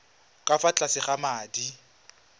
ka fa tlase ga madi